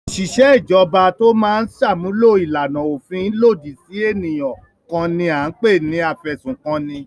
Òṣìṣẹ́ ìjọba tó máa ń ṣàmúlò ìlànà òfin lòdì sí ènìyàn kan ni à ń pè ní afẹ̀sùnkanni.